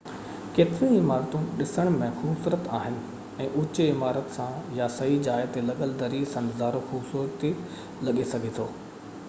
ڪيتريون ئي عمارتون ڏسڻ ۾ خوبصورت آهن ۽ اوچي عمارت سان يا صحيح جاءَ تي لڳل دري سان نظارو خوبصورت لڳي سگهجي ٿو